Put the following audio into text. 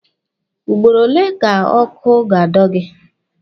Ugboro ole ka ọkụ ga-ado gị?